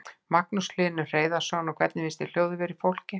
Magnús Hlynur Hreiðarsson: Og hvernig finnst þér hljóðið vera í fólki?